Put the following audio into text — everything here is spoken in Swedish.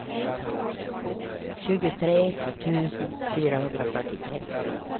tjugotre tusen fyrahundrafyrtiotre